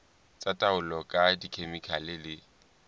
tsa taolo ka dikhemikhale le